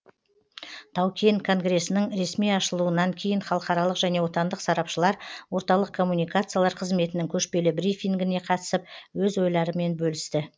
тау кен конгресінің ресми ашылуынан кейін халықаралық және отандық сарапшылар орталық коммуникациялар қызметінің көшпелі брифингіне қатысып өз ойларымен бөлісті